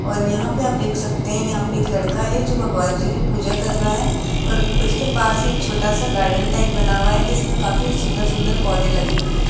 और यहां पे आप देख हैं यहां पे एक लड़का है जो भगवान जी की पूजा कर रहा है और उसके पास ही छोटा सा गार्डन टाइप बना हुआ है जिसमें काफी सुंदर सुंदर पौधे लगे हुए हैं।